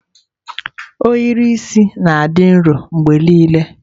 Ohiri isi na-adị nro mgbe niile.